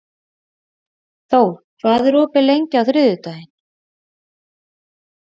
Thor, hvað er opið lengi á þriðjudaginn?